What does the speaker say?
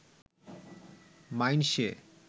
মাইনষে